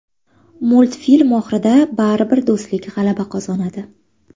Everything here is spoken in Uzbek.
Multfilm oxirida baribir do‘stlik g‘alaba qozonadi.